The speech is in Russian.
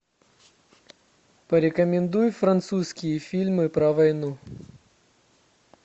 порекомендуй французские фильмы про войну